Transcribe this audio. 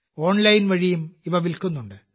online വഴിയും ഇവ വിൽക്കുന്നുണ്ട്